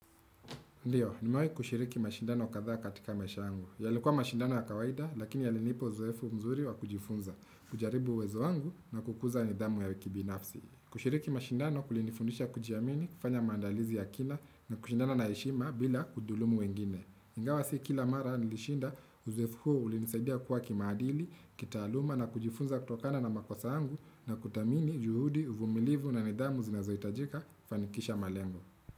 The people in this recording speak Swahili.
Ndiyo, nimawai kushiriki mashindano katha katika maisha yangu. Yalikuwa mashindano ya kawaida, lakini yalinipo uzoefu mzuri wa kujifunza, kujaribu uwezo angu na kukuza nidhamu ya wiki binafsi. Kushiriki mashindano kulinifundisha kujiamini, kufanya mandalizi ya kina, na kushindana na heshima bila kudhulumu wengine. Ingawa si kila mara nilishinda uzoefu huo ulinisaidia kuwa kimaadili, kitaaluma na kujifunza kutokana na makosa yangu, na kutamini juhudi uvumilivu na nidhamu zinazoitajika, fanikisha malengu.